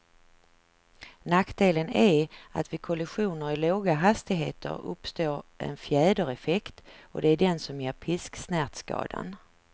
Nackdelen är att vid kollisioner i låga hastigheter uppstår en fjädereffekt, och det är den som ger pisksnärtskadan.